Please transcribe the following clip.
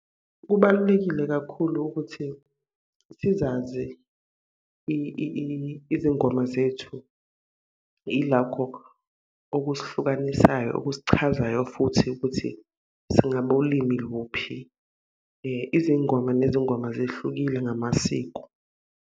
Kubalulekile kakhulu ukuthi sizazi izingoma zethu, ilakho okusihlukanisayo okusichazayo futhi ukuthi singabo limi luphi. Izingoma nezingoma zehlukile ngamasiko.